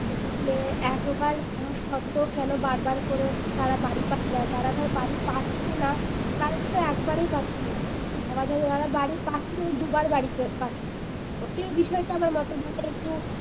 যে একবার পাওয়া সত্ত্বেও কেন বার বার করে তারা বাড়ী পাচ্ছে যারা ধর বাড়ী পাচ্ছে না তারা তো একেবারেই পাচ্ছে না আবার যারা বাড়ী পাচ্ছে তারা দুবার বাড়ী পাচ্ছে বিষয় টা আমার মতে বলে একটু